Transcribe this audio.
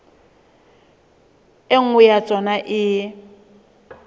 e nngwe ya tsona e